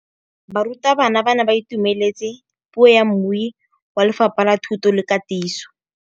Barutabana ba ne ba itumeletse puô ya mmui wa Lefapha la Thuto le Katiso.